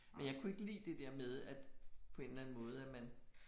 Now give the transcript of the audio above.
Men jeg kunne ikke lide det der med at på en eller anden måde at man